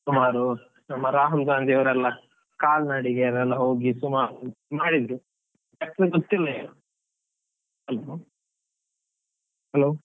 ಸುಮಾರು, ನಮ್ಮ ರಾಹುಲ್ ಗಾಂಧಿ ಅವರೆಲ್ಲ ಕಾಲ್ನಡಿಗೆಯಲೆಲ್ಲ ಹೋಗಿ ಸುಮಾರು ಮಾಡಿದ್ರು ಎಂತ ಗೊತ್ತಿಲ್ಲ hello hello ?